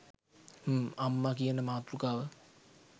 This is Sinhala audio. හ්ම් අම්මා කියන මාතෘකාව